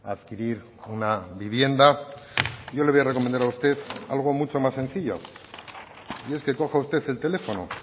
adquirir una vivienda yo le voy a recomendar a usted algo mucho más sencillo y es que coja usted el teléfono